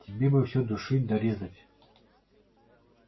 тебе бы все душить да резать